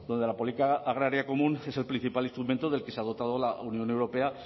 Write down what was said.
donde la política agraria común es el principal instrumento del que se ha dotado la unión europea